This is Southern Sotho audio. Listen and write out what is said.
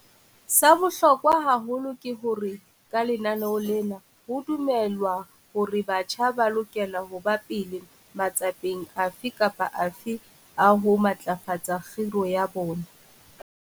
Sa bohlokwa haholo ke hore ka lenaneo lena ho dumelwa hore batjha ba lokela ho ba pele matsapeng afe kapa afe a ho matlafatsa khiro ya bona.